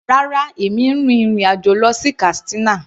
Rárá, èmi n rin ìrìn àjò lọ sí Katsina.